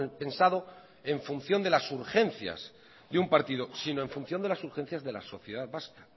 pensado en función de las urgencias de un partido sino en función de las urgencias de la sociedad vasca